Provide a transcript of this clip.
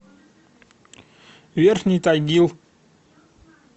верхний тагил